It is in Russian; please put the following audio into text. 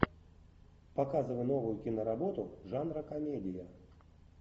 показывай новую киноработу жанра комедия